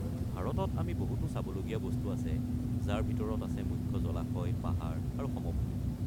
ভাৰতত আমি বহুতো চাবলগীয়া বস্তু আছে, যাৰ ভিতৰত আছে মুখ্য জলাশয়, পাহাৰ আৰু সমভূমি।